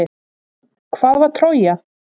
Hvað var Trója?